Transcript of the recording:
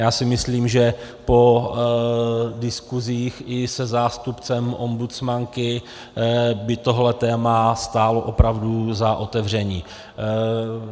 Já si myslím, že po diskusích i se zástupcem ombudsmanky by tohle téma stálo opravdu za otevření.